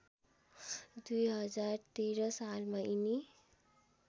२०१३ सालमा यिनी